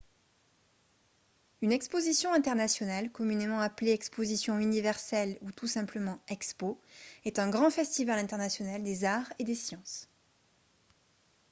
une exposition internationale communément appelée exposition universelle ou tout simplement expo est un grand festival international des arts et des sciences